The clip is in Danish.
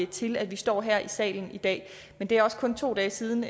til at vi står her i salen i dag men det er også kun to dage siden